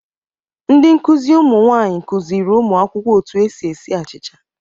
Ndị nkụzi ụmụ nwaanyị kụzịrị ụmụ akwụkwọ otu esi esi achịcha.